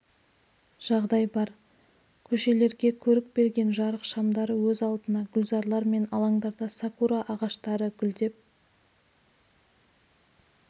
жағдай бар көшелерге көрік берген жарық шамдары өз алдына гүлзарлар мен алаңдарда сакура ағаштары гүлдеп